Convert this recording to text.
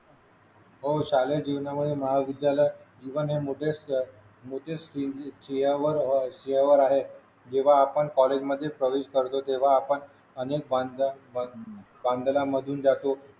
हो शालेय जीवनामध्ये महाविद्यालय जीवन हे माझे मजेच मजेशीर शिव शिवावर आहे जेव्हा आपण कॉलेजमध्ये प्रवेश करतो तेव्हा आपण अनेक भानभाळून जातो